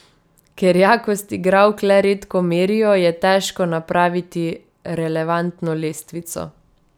Ker jakost igralk le redko merijo, je težko napraviti relevantno lestvico.